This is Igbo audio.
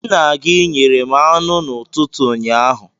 Nna gị nyere m anụ n'ụtụtụ ụnyaahụ.